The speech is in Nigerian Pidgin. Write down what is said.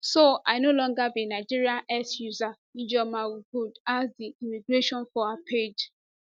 so i no longer be nigerian x user ijeomaogood ask di immigration for her page